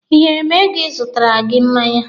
Ị nyere m ego ị zụtara gị mmanya?